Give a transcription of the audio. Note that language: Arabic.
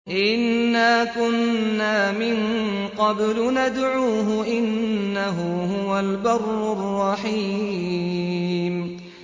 إِنَّا كُنَّا مِن قَبْلُ نَدْعُوهُ ۖ إِنَّهُ هُوَ الْبَرُّ الرَّحِيمُ